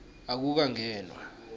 akukangenwa